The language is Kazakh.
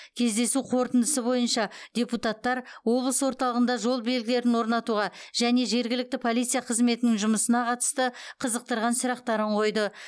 кездесу қорытындысы бойынша депутаттар облыс орталығында жол белгілерін орнатуға және жергілікті полиция қызметінің жұмысына қатысты қызықтырған сұрақтарын қойды